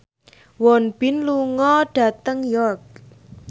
Won Bin lunga dhateng York